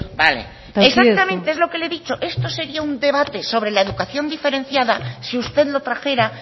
bale exactamente es lo que le he dicho esto sería un debate sobre la educación diferenciada si usted lo trajera